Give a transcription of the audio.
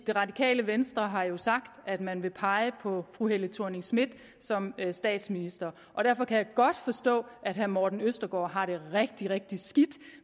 det radikale venstre har jo sagt at man vil pege på fru helle thorning schmidt som statsminister derfor kan jeg godt forstå at herre morten østergaard har det rigtig rigtig skidt